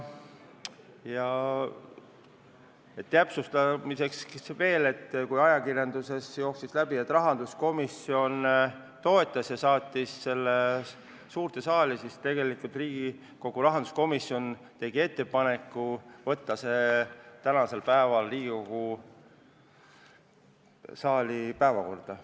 Täpsustamiseks veel, et kui ajakirjandusest jooksis läbi, et rahanduskomisjon toetas seda nimekirja ja saatis selle suurde saali, siis tegelikult tegi Riigikogu rahanduskomisjon ettepaneku võtta see eelnõu Riigikogu tänase istungi päevakorda.